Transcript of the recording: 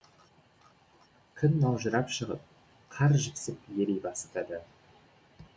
күн маужырап шығып қар жіпсіп ери бастады